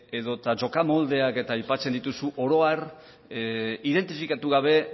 edo eta jokamoldeak aipatzen dituzu oro har identifikatu gabe